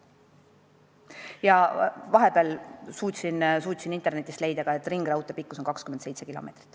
Ja vahepeal suutsin internetist leida ka info, et ringraudtee pikkus on 27 kilomeetrit.